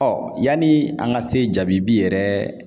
yanni an ka se jaabi yɛrɛ